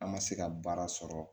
An ma se ka baara sɔrɔ